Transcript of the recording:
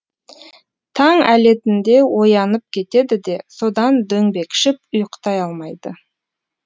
таң әлетінде оянып кетеді де содан дөңбекшіп ұйықтай алмайды